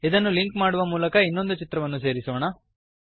ಇದನ್ನು ಲಿಂಕ್ ಮಾಡುವ ಮೂಲಕ ಇನ್ನೊಂದು ಚಿತ್ರವನ್ನು ಸೇರಿಸೋಣ